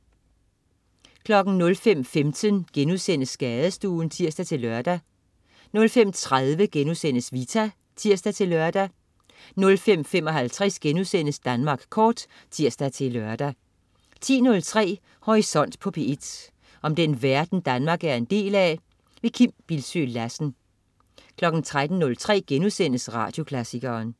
05.15 Skadestuen* (tirs-lør) 05.30 Vita* (tirs-lør) 05.55 Danmark Kort* (tirs-lør) 10.03 Horisont på P1. Om den verden Danmark er en del af. Kim Bildsøe Lassen 13.03 Radioklassikeren*